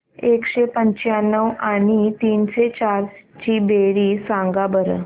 एकशे पंच्याण्णव आणि तीनशे चार ची बेरीज सांगा बरं